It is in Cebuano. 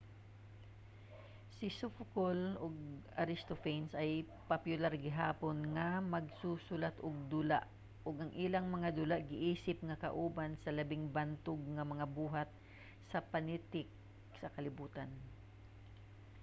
si sophocle ug aristophanes kay popular gihapon nga magsusulat-ug-dula ug ang ilang mga dula giisip nga kauban sa labing bantog nga mga buhat sa panitik sa kalibutan